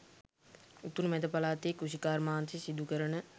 උතුරු මැද පළාතේ කෘෂිකාර්මාන්තය සිදු කරන